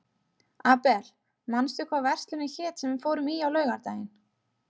Abel, manstu hvað verslunin hét sem við fórum í á laugardaginn?